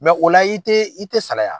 o la i tee i te salaya.